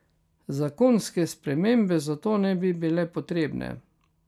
Zakonske spremembe zato ne bi bile potrebne.